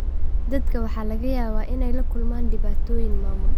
Dadka waxaa laga yaabaa inay la kulmaan dhibaatooyin maamul.